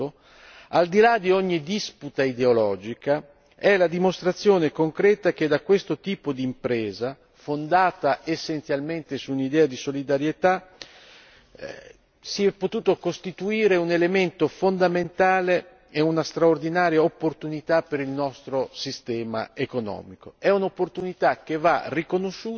È un fatto che va riconosciuto al di là di ogni disputa ideologica, è la dimostrazione concreta che da questo tipo di impresa fondata essenzialmente su un'idea di solidarietà si è potuto costituire un elemento fondamentale e una straordinaria opportunità per il nostro sistema economico.